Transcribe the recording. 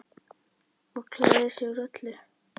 Og klæðir sig úr öllu!